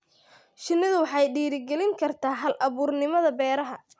Shinnidu waxay dhiirigelin kartaa hal-abuurnimada beeraha.